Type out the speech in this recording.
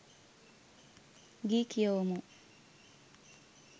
ගී කියවමු